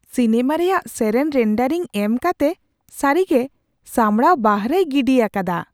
Cinema ᱨᱮᱭᱟᱜ ᱥᱮᱨᱮᱧ rendering ᱮᱢ ᱠᱟᱛᱮ ᱥᱟᱹᱨᱤᱜᱮ ᱥᱟᱢᱲᱟᱣ ᱵᱟᱦᱨᱮᱭ ᱜᱤᱰᱤ ᱟᱠᱟᱫᱟ !